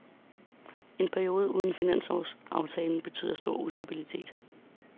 En periode uden finanslovsaftale betyder stor ustabilitet.